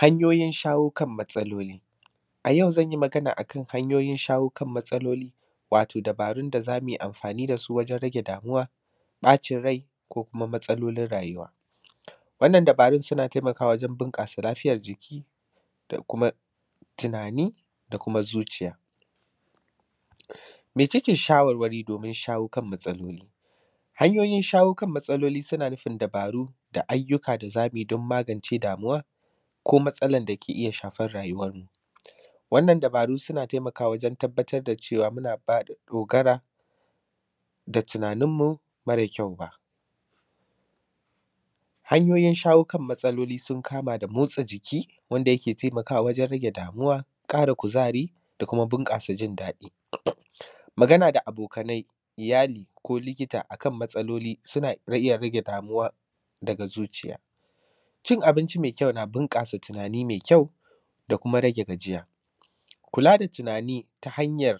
Hanyoyin shawo kan matsaloli. A yau zan yi magana a kan hanyoyin shawo kan matsaloli, wato dabarun da za mui amfani da su wajen rage damuwa, ƃacin rai ko kuma matsalolin rayuwa. Wannan dabarun suna temakawa wajen bunƙasa lafiyar jiki da kuma tunani da kuma zuciya. Mece ce shawarwari domin shawo kan matsaloli, hanyoyin shawo kan matsaloli suna nufin dabaru da ayyuka da za mu yi don magance damuwa, ko matsalan da ke iya shafar rayuwarmu. Wannan dabaru suna temakawa wajen tabbatar da cewa muna ƙara dogara da tunaninmu mare kyau ba. Hanyoyin shawo kan matsaloli sun kama da motsa jiki wanda yake temakawa wajen rage damuwa, ƙara kuzari da kuma bunƙasa jin daɗi. Magana da abokanai, iyali ko likita a kan matsaloli suna iya rage damuwa daga zuciya. Cin abinci me kyau na bunƙasa tunani me kyau da kuma rage gajiya, kula da tunani ta hanyar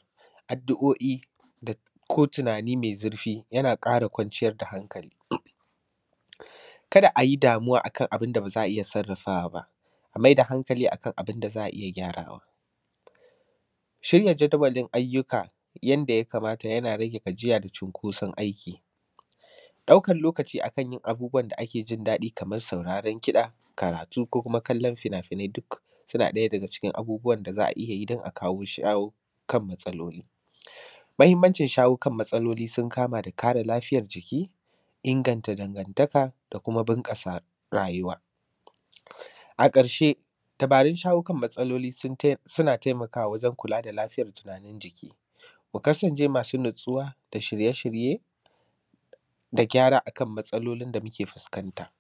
addu’o’i da; ko tunani me zirfi yana ƙara kwanciyar da hankali. Kada a yi damuwa a kan abin da ba za a iya sarrafawa ba, a mai da hankali a kan abin da za a iya gyarawa, shirya jadawalin ayyuka yanda ya kamata yana rage gajiya da cunkoson aiki. Ɗaukan lokaci a kan yin abubuwan da ake jin daɗi kamas sauraron kiɗa, karatu ko kuma kallon finafinai duk suna ɗaya daga cikin abubuwan da za a iya yi don a kawo; shawo kan matsaloli. Mahimmancin shawo kan matsalolin sun kama da kare lafiyar jiki, inganta dangantaka da kuma bunƙasa rayuwa. A ƙarshe, dabarun shawo kan matsaloli sun tai; suna temakawa wajen kula da lafiyan tunanin jiki. Ku kasance masu natsuwa da shirye-shirye da gyara a kan matsalolin da muke fuskanta.